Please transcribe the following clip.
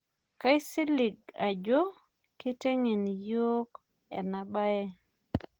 kaisilig ajo keiteng'en yiok ena bae